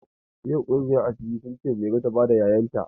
Ƴan ƙungiyar asiri sun ce Mairo ta bada 'ya'yan ta.